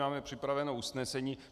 Máme připraveno usnesení.